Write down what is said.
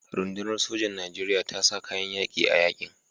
Rundunar sojan Nijeriya ta sa kayan yaƙi a yaƙin.